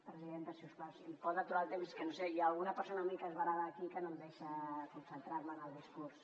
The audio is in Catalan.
presidenta si us plau si em pot aturar el temps que hi ha alguna persona mig esverada aquí que no em deixa concentrar me en el discurs